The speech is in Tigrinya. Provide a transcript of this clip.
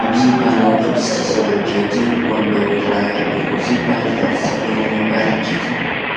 ኣብዚ ብባህላዊ ቅዲ ዝተሰርሑ ዕንጨይቲ መንበር ይራኣዩ ኣለዉ። እዚ ብባህሊ ቅርጺ ዘለዎም መንበር ዕንጨይቲን